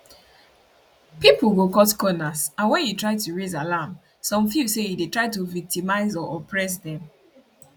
pipo go cut corners and wen you try to raise alarm some feel say you dey try to victimise or oppress dem